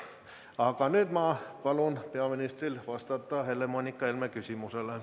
Aga nüüd ma palun peaministril vastata Helle-Moonika Helme küsimusele.